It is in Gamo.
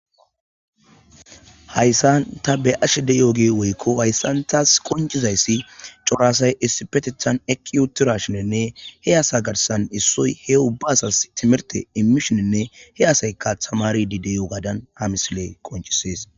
Hayssan ta be ashe de yooge woykko hayssantas qoncizayssi coraasay issipetethan eqqi uutura shinenne he asa garsan issoy he ubbasas timerte imishoninne he asayka tamari dideyo gaadan hamisiley qonchisees